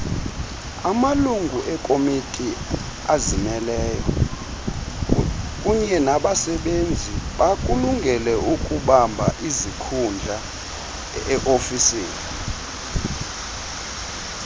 amalunguekomitiazimeleyo kunyenabasebenzibakulungeleukubambaizikhundlae ofisini